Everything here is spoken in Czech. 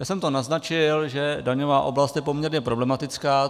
Já jsem to naznačil, že daňová oblast je poměrně problematická.